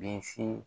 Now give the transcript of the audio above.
Bisi